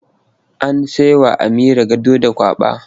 An sai wa Amira gado da kwaba.